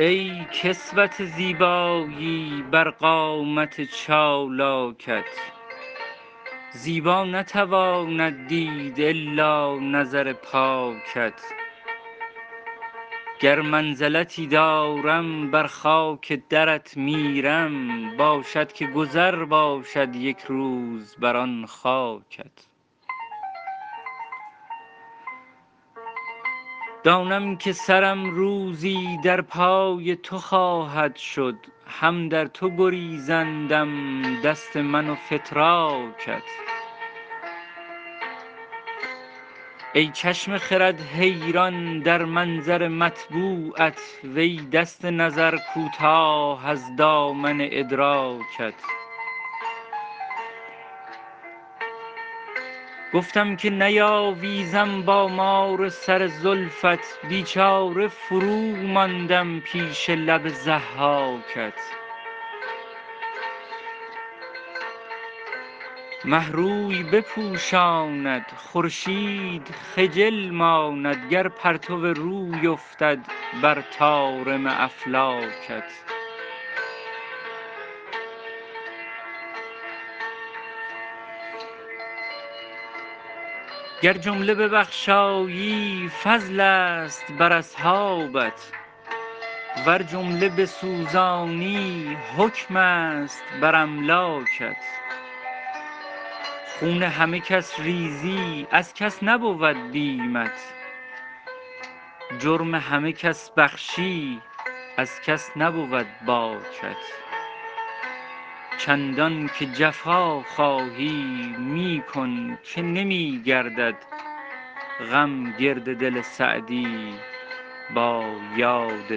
ای کسوت زیبایی بر قامت چالاکت زیبا نتواند دید الا نظر پاکت گر منزلتی دارم بر خاک درت میرم باشد که گذر باشد یک روز بر آن خاکت دانم که سرم روزی در پای تو خواهد شد هم در تو گریزندم دست من و فتراکت ای چشم خرد حیران در منظر مطبوعت وی دست نظر کوتاه از دامن ادراکت گفتم که نیاویزم با مار سر زلفت بیچاره فروماندم پیش لب ضحاکت مه روی بپوشاند خورشید خجل ماند گر پرتو روی افتد بر طارم افلاکت گر جمله ببخشایی فضلست بر اصحابت ور جمله بسوزانی حکمست بر املاکت خون همه کس ریزی از کس نبود بیمت جرم همه کس بخشی از کس نبود باکت چندان که جفا خواهی می کن که نمی گردد غم گرد دل سعدی با یاد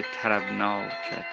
طربناکت